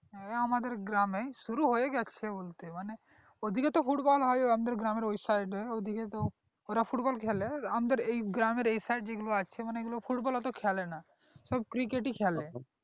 হ্যাঁ আমাদের গ্রামে শুরু হয়ে গিয়েছে বলতে মানে ওদিকে তো football হয় আমাদের গ্রামের ওই side এ ওদিকে তো ওরা football খেলে আমাদের গ্রামের এই side যেগুলো আছে মানে football ওত্তো খেলে না সব cricket ই খেলে